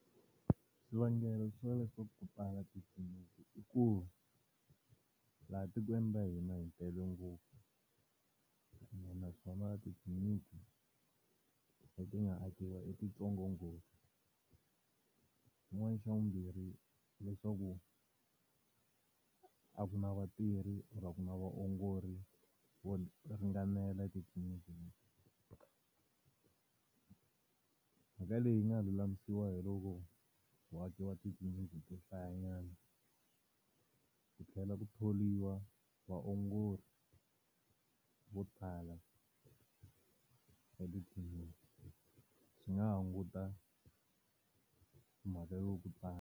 Swivangelo swa leswaku ku tala titliniki i ku, laha tikweni ra hina hi tele ngopfu ene naswona titliniki leti nga akiwa i ti ntsongo ngopfu. Xin'wana xa vumbirhi hileswaku, a ku na vatirhi or a ku na vaongori vo vo ringanela etitliniki leti. Mhaka leyi yi nga lulamisiwa hi loko ku akiwa titliliniki to hlayanyana, ku tlhela ku thoriwa vaongori vo tala swi nga hunguta mhaka yo ku .